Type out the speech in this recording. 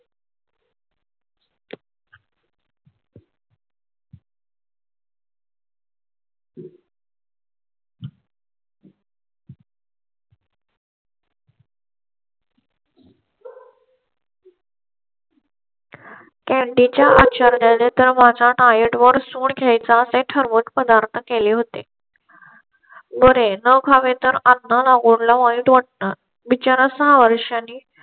diet वर सूड घ्यायचा असे ठरवून पदार्थ केले होते. बरे न खावे तर वाईट वाटणार बिचारा सहा वर्षांनी.